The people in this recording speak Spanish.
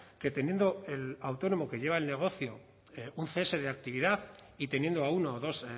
que teniendo el autónomo que lleva el negocio un cese de actividad y teniendo a uno o dos